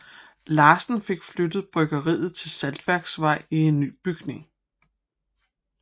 Larsen fik flyttet bryggeriet til Saltværksvej i en ny bygning